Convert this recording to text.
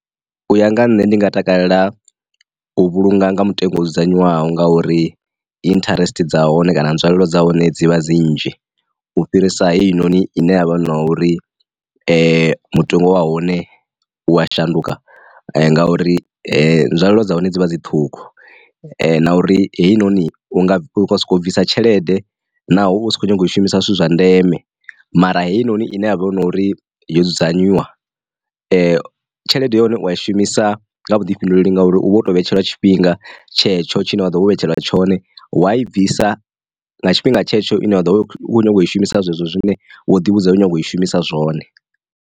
U ya nga nṋe ndi nga takalela u vhulunga nga mutengo dzudzanywaho ngauri interest dza hone kana nzwalelo dza hone dzivha dzi nnzhi u fhirisa heinoni ine yavha na uri mutengo wa hone u ya shanduka ngauri, nzwalelo dza hone dzi vha dzi ṱhukhu na uri heinoni unga soko bvisa tshelede naho husa kho nyaga u shumisa zwithu zwa ndeme mara heinoni ine havha na uri yo dzudzanyiwa. Tshelede ya hone u a i shumisa nga vhuḓifhinduleli ngauri u vha uto vhetshelwa tshifhinga tshetsho tshine wa ḓo vhetshelwa tshone wa i bvisa nga tshifhinga tshetsho ine vha ḓo kona u i shumisa zwezwo zwine wo ḓi vhudza hu nyanga u i shumisa zwone.